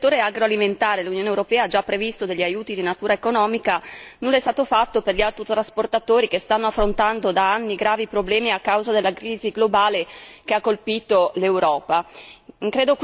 Ma se per il settore agroalimentare l'Unione europea ha già previsto degli aiuti di natura economica, nulla è stato fatto per gli autotrasportatori che stanno affrontando da anni gravi problemi a causa della crisi globale che ha colpito l'Europa.